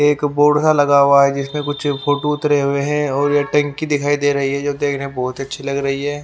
एक बोर्ड सा लगा हुआ है जिसमें कुछ फोटो उतरे हुए हैं और ये टंकी दिखाई दे रही है जो देखने बहुत अच्छी लग रही है।